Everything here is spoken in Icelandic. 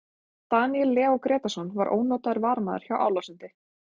Daníel Leó Grétarsson var ónotaður varamaður hjá Álasundi.